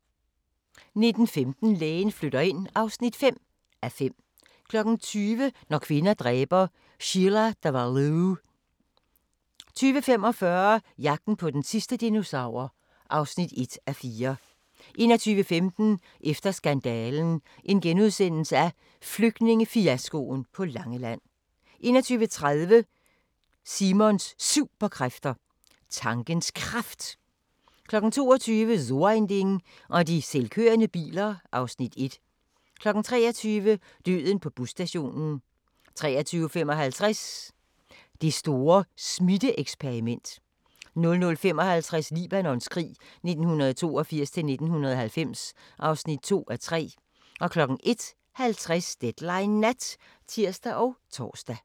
19:15: Lægen flytter ind (5:5) 20:00: Når kvinder dræber – Sheila Davalloo 20:45: Jagten på den sidste dinosaur (1:4) 21:15: Efter skandalen – Flygtningefiaskoen på Langeland * 21:30: Simons Superkræfter: Tankens Kraft 22:00: So ein Ding og de selvkørende biler (Afs. 1) 23:00: Døden på busstationen 23:55: Det store smitte-eksperiment 00:55: Libanons krig 1982-1990 (2:3) 01:50: Deadline Nat (tir og tor)